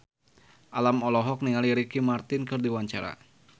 Alam olohok ningali Ricky Martin keur diwawancara